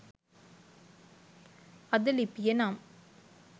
අද ලිපියෙ නම්